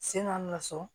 Sen ka na so